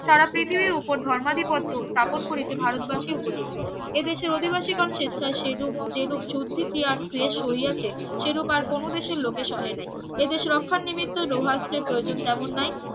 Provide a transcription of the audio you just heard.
সারা পৃথিবীর ওপর ধর্মাদি পত্র স্থাপন করিতে ভারতবাসী উপযুক্ত এদেশে অধিবাসীগণ স্বেচ্ছায় সে রূপ যে রূপ শুদ্ধি ক্রিয়ার ক্লেশ সহিয়াছে সেরূপ আর কোনো দেশের লোকেরা সহে নাই এ দেশ রক্ষা নিমিত্ত লৌহাস্ত্রের প্রয়োজন তেমন নয়